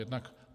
Jednak -